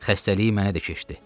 Xəstəliyi mənə də keçdi.